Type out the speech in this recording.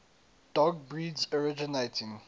dog breeds originating